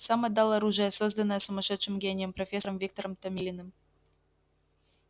сам отдал оружие созданное сумасшедшим гением профессором виктором томилиным